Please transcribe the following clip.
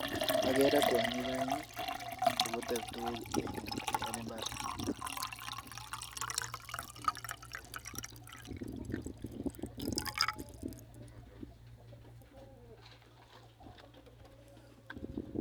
agere kwonyik aeng che putei tuguk eng mbar